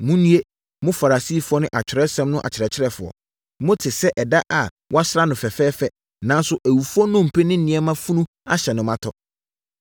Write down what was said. “Monnue! Mo Farisifoɔ ne Atwerɛsɛm no akyerɛkyerɛfoɔ! Mote sɛ ɛda a wɔasra ho fɛfɛɛfɛ nanso awufoɔ nnompe ne nneɛma funu ahyɛ mu ma tɔ.